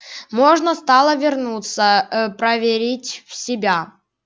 можно стало вернуться ээ проверить в себя